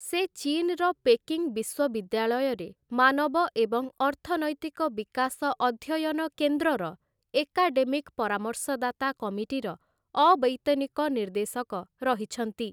ସେ ଚୀନ୍‌ର ପେକିଂ ବିଶ୍ୱବିଦ୍ୟାଳୟରେ ମାନବ ଏବଂ ଅର୍ଥନୈତିକ ବିକାଶ ଅଧ୍ୟୟନ କେନ୍ଦ୍ରର ଏକାଡେମିକ୍‌ ପରାମର୍ଶଦାତା କମିଟିର ଅବୈତନିକ ନିର୍ଦ୍ଦେଶକ ରହିଛନ୍ତି ।